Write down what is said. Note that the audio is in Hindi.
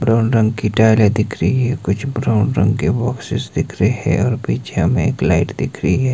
ब्राउन रंग की टाइलें दिख रही है कुछ ब्राउन रंग के बॉक्सेस दिख रहे है और पीछे मे एक लाइट दिख रही है।